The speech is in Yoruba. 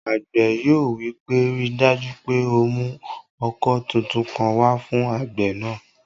Àgbẹ̀ yóò wí pé, "ríi dájú pé o mú ọkọ́ tuntun kan wá fún àgbẹ̀ náà!"